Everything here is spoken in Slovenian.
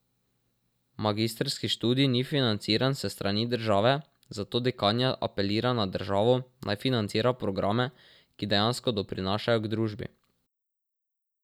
Magistrski študij ni financiran s strani države, zato dekanja apelira na državo, naj financira programe, ki dejansko doprinašajo k družbi.